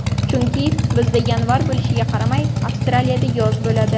Chunki, bizda yanvar bo‘lishiga qaramay Avstraliyada yoz bo‘ladi.